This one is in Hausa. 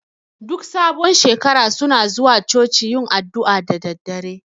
Duk sabon shekara suna zuwa Coci yin addu'a da daddare